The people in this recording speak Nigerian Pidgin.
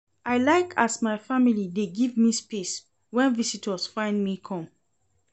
I like as my family dey give me space wen visitors find me come.